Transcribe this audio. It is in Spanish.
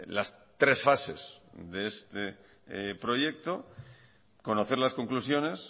las tres fases de este proyecto conocer las conclusiones